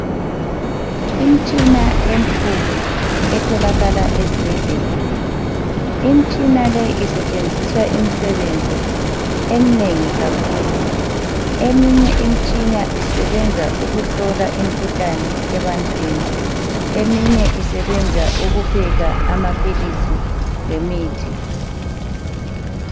Imitshina emikhulu etholakala ezibhedlela isetshenziswa imisebenzi eminengi kakhulu eminye isebenza ukuhlola umkhuhlane ebantwini, eminye isebenza ukupheka amaphilisi lemithi